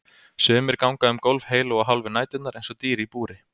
Sumir ganga um gólf heilu og hálfu næturnar eins og dýr í búri.